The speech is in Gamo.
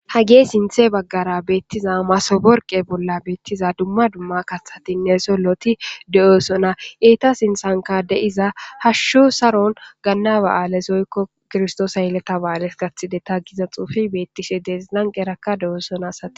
hagee sinthe baggara beettiza masoborqe bolla beettiza dumma dumma kahatinne solloti de7oosona eeta sinsanka deiza hashshu saron gannaba7alesoykko kirstoosa yeleta ba7aales gathide ta giza xuufi beettishe deesi lanqerakka de7oosona sati